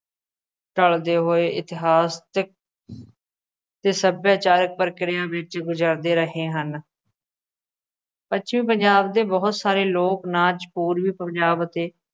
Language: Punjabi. ਢਲਦੇ ਹੋਏ ਇਤਿਹਾਸਕ ਅਤੇ ਸੱਭਿਆਚਾਰਕ ਪ੍ਰਕਿਰਿਆ ਵਿੱਚ ਗੁਜ਼ਰਦੇ ਰਹੇ ਹਨ ਪੱਛਮੀ ਪੰਜਾਬ ਦੇ ਬਹੁਤ ਸਾਰੇ ਲੋਕ ਨਾਚ ਪੂਰਬੀ ਪੰਜਾਬ ਅਤੇ